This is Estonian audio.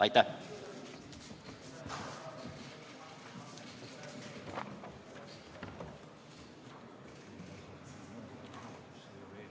Aitäh!